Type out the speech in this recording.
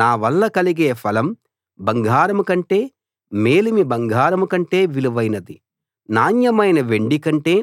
నా వల్ల కలిగే ఫలం బంగారం కంటే మేలిమి బంగారం కంటే విలువైనది నాణ్యమైన వెండి కంటే